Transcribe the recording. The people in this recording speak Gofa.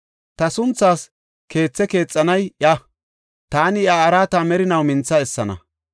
Ta sunthaas keethe keexanay iya; taani iya araata merinaw mintha essana.